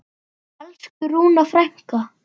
Elsku Rúna frænka.